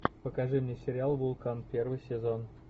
покажи мне сериал вулкан первый сезон